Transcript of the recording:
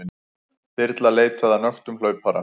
Þyrla leitaði að nöktum hlaupara